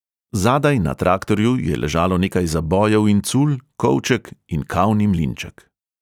Zadaj na traktorju je ležalo nekaj zabojev in cul, kovček in kavni mlinček.